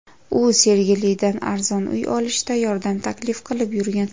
U Sergelidan arzon uy olishda yordam taklif qilib yurgan.